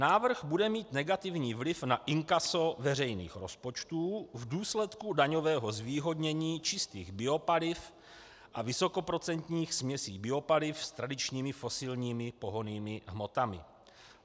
Návrh bude mít negativní vliv na inkaso veřejných rozpočtu v důsledku daňového zvýhodnění čistých biopaliv a vysokoprocentních směsí biopaliv s tradičními fosilními pohonnými hmotami.